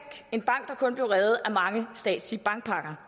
en bank der kun blev reddet af mange statslige bankpakker